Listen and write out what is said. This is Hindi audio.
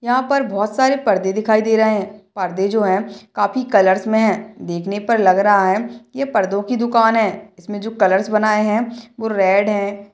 यहाँ पर बहुत सारे पर्दे दिखाई दे रहे हैं पर्दे जो है काफी कलर्स में हैं देखने पर लग रहा है ये पर्दो की दुकान है इसमें जो कलर्स बनए हैं वो रेड है।